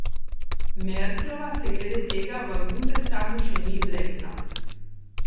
Merklova se glede tega v bundestagu še ni izrekla.